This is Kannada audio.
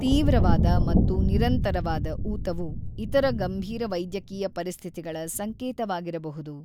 ತೀವ್ರವಾದ ಮತ್ತು ನಿರಂತರವಾದ ಊತವು ಇತರ ಗಂಭೀರ ವೈದ್ಯಕೀಯ ಪರಿಸ್ಥಿತಿಗಳ ಸಂಕೇತವಾಗಿರಬಹುದು.